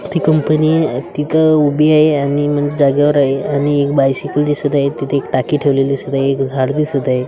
ती कंपनी तिथं उभी आहे आणि म्हणजे जागेवर आहे आणि एक बायसिकल दिसत आहे तिथे एक टाकी ठेवलेली दिसत आहे एक झाड दिसत आहे.